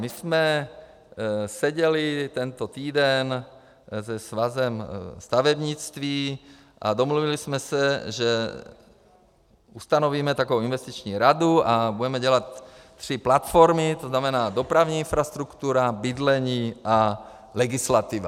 My jsme seděli tento týden se Svazem stavebnictví a domluvili jsme se, že ustanovíme takovou investiční radu a budeme dělat tři platformy, to znamená dopravní infrastruktura, bydlení a legislativa.